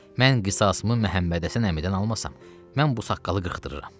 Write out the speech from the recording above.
Mən qisasımı Məmmədhəsən əmidən almasam, mən bu saqqalı qırxdırıram.